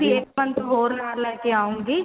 ਇਹ ਨਾਲ ਲੈਕੇ ਆਉਗੀ